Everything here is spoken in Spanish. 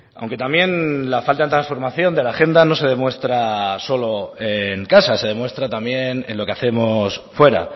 aunque también la falta de transformación de la agenda no se demuestra solo en casa se demuestra también en lo que hacemos fuera